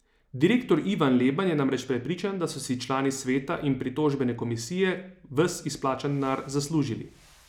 Direktor Ivan Leban je namreč prepričan, da so si člani sveta in pritožbene komisije ves izplačan denar zaslužili.